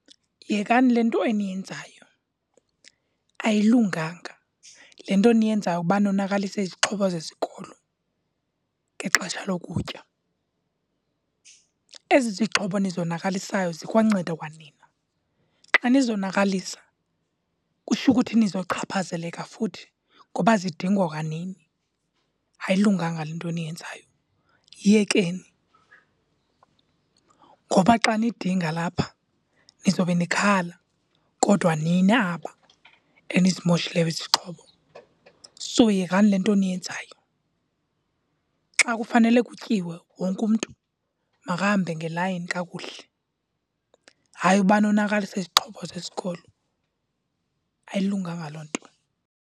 Yekani le nto eniyenzayo. Ayilunganga le nto niyenzayo uba nonakalise izixhobo zesikolo ngexesha lokutya. Ezi zixhobo nizonakalisayo zikwanceda kwanina. Xa nizonakalisa kutsho ukuthi nizochaphazaleka futhi ngoba zidingwa kwanini. Ayilunganga le nto eniyenzayo, yiyekeni. Ngoba xa nidinga lapha nizobe nikhala kodwa nini aba enizimoshileyo izixhobo, so yekani le nto niyenzayo. Xa kufanele kutyiwe, wonke umntu makahambe ngelayini kakuhle. Hayi uba nonakalise izixhobo zesikolo, ayilunganga loo nto.